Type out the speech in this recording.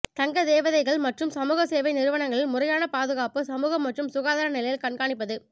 தங்க தேவைகள் மற்றும் சமூக சேவை நிறுவனங்களில் முறையான பாதுகாப்பு சமூக மற்றும் சுகாதார நிலையில் கண்காணிப்பது